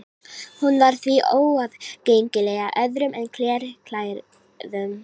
Hún var því óaðgengileg öðrum en klerklærðum.